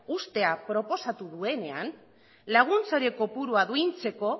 uztea proposatu duenean laguntza horien kopuru duintzeko